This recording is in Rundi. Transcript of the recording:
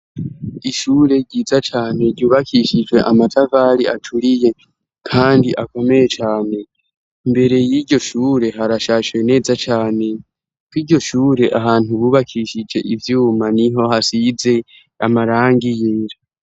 Ishure ryiza cane ryubakishijwe amatavali aturiye, kandi akomeye cane imbere y'iryo shure harashashwe neza cane ko iryo shure ahantu bubakishije ivyuma ni ho hasize amarangiynja.